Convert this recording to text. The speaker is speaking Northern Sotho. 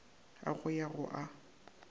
a go ya go a